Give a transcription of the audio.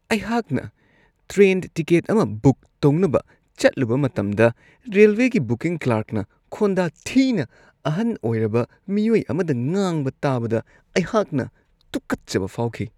ꯑꯩꯍꯥꯛꯅ train ticket ꯑꯃ book ꯇꯧꯅꯕ ꯆꯠꯂꯨꯕ ꯃꯇꯝꯗ ꯔꯦꯜꯋꯦꯒꯤ ꯕꯨꯀꯤꯡ ꯀ꯭ꯂꯥꯔꯛꯅ ꯈꯣꯟꯗꯥ ꯊꯤꯅ ꯑꯍꯟ ꯑꯣꯏꯔꯕ ꯃꯤꯑꯣꯏ ꯑꯃꯗ ꯉꯥꯡꯕ ꯇꯥꯕꯗ ꯑꯩꯍꯥꯛꯅ ꯇꯨꯀꯠꯆꯕ ꯐꯥꯎꯈꯤ ꯫